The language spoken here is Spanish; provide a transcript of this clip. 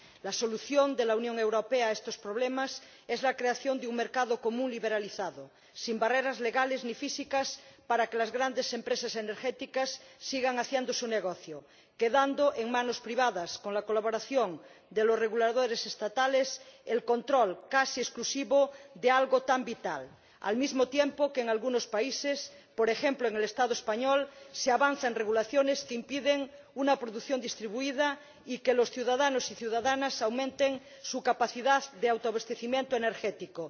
La solución de la Unión Europea a estos problemas es la creación de un mercado común liberalizado, sin barreras legales ni físicas para que las grandes empresas energéticas sigan haciendo su negocio, quedando en manos privadas con la colaboración de los reguladores estatales el control casi exclusivo de algo tan vital, al mismo tiempo que en algunos países, por ejemplo en el Estado español, se avanza en regulaciones que impiden una producción distribuida y que los ciudadanos y ciudadanas aumenten su capacidad de autoabastecimiento energético.